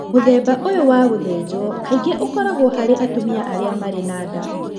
Mũthemba ũyũ wa gũthĩnjwo kaingĩ ũkoragwo harĩ atumia arĩa marĩ na nda.